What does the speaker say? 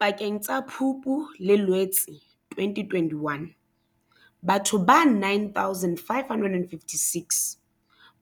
Pakeng tsa Phupu le Loetse 2021, batho ba 9 556,